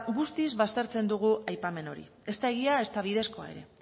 guztiz baztertzen dugu aipamen hori ez da egia ezta bidezkoa ere